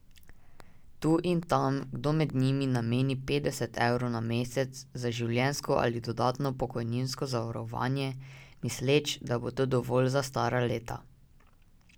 Tu in tam kdo med njimi nameni petdeset evrov na mesec za življenjsko ali dodatno pokojninsko zavarovanje, misleč, da bo to dovolj za stara leta.